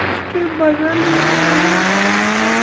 उसके बदल में मुझे यहाँ पर--